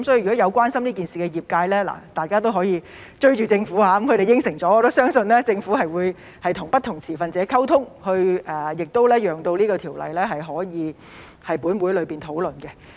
所以，關心這件事的業界可以"追"政府，他們應承了，我也相信政府會與不同持份者溝通，讓有關條例可以在本會討論。